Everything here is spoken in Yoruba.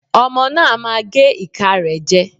Ọmọ náà á máa gé ìka rẹ̀ jẹ.